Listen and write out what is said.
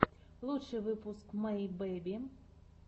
лучший выпуск мэй бэби